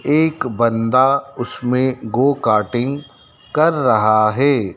एक बंदा उसमें गो कारटिंग कर रहा है।